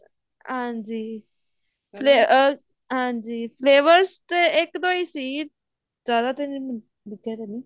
ਹਾਂਜੀ ਅਹ ਹਾਂਜੀ syllabus ਤੇ ਇੱਕ ਦੋ ਹੀ ਸੀ ਜਿਆਦਾ ਤਰ